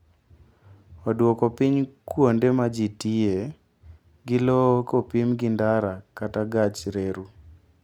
Oduoko piny kuonde ma ji tiyoe gi lowo kopim gi ndara kata gach reru.